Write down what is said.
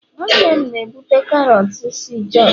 nwannem na-ebute karọt si jos